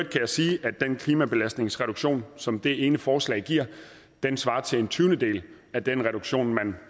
jeg sige at den klimabelastningsreduktion som det ene forslag giver svarer til en tyvendedel af den reduktion man